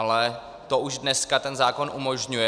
Ale to už dneska ten zákon umožňuje.